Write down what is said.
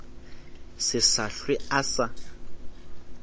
se sa hlwe a sa